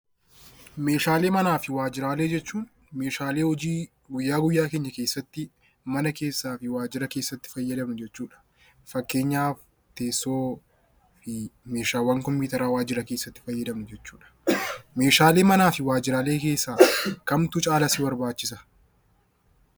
Meeshaalee manaa fi waajjiraa jechuun meeshaalee hojii guyyaa guyyaa keenya keessatti mana keessaa fi waajjiraa keessatti itti fayyadamnu jechuudha. Fakkeenyaaf teessoo.